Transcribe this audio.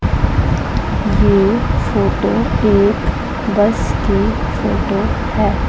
ये फोटो एक बस की फोटो है।